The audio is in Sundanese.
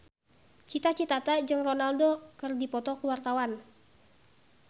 Cita Citata jeung Ronaldo keur dipoto ku wartawan